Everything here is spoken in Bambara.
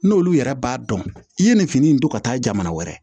N'olu yɛrɛ b'a dɔn i ye nin fini in don ka taa jamana wɛrɛ